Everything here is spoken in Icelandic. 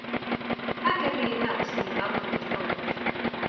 Hvað gerði ég í dag sem ég hef aldrei gert áður?